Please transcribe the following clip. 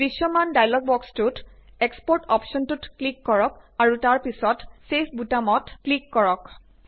দৃশ্যমান ডায়লগ বক্সটোত এক্সপোৰ্ট অপ্শ্বনটোত ক্লিক কৰক আৰু তাৰ পিছত ছেভ বুতামটোত ক্লিক কৰক